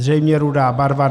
Zřejmě rudá barva.